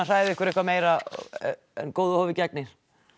hræða ykkur eitthvað meira en góðu hófi gegnir